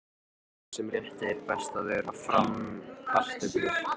Með þessum rétti er best að bera fram kartöflur.